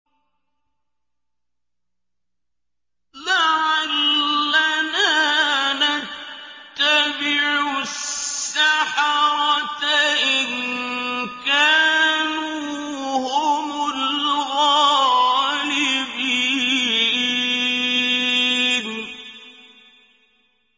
لَعَلَّنَا نَتَّبِعُ السَّحَرَةَ إِن كَانُوا هُمُ الْغَالِبِينَ